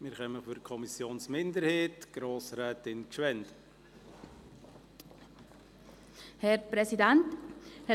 Für die Kommissionsminderheit hat Grosstätin Gschwend-Pieren das Wort.